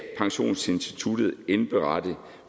pensionsinstituttet indberette